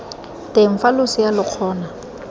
teng fa losea lo kgona